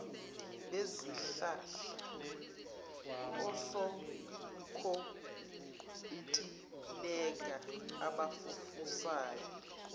bezihlahla osonkontileka abafufusayo